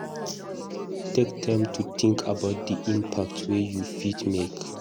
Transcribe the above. Take time to think about di impact wey you fit make